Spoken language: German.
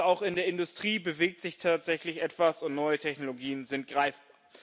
Also auch in der Industrie bewegt sich tatsächlich etwas, und neue Technologien sind greifbar.